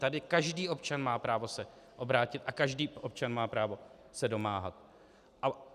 Tady každý občan má právo se obrátit a každý občan má právo se domáhat.